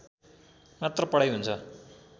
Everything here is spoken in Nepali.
मात्र पढाइ हुन्छ